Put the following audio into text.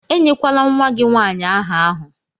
Enyekwala nwa gị nwanyị áhà ahụ!